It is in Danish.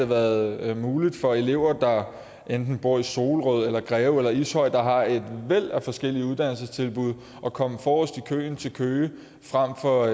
været muligt for elever der enten bor i solrød greve eller ishøj der har et væld af forskellige uddannelsestilbud at komme forrest i køen til køge frem for